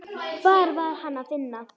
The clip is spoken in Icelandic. Hvar var Hann að finna?